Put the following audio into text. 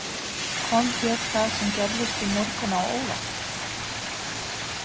Kom þér það sem gerðist í morgun á óvart?